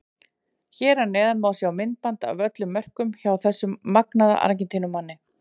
Hér að neðan má sjá myndband af öllum mörkunum hjá þessum magnaða Argentínumanni.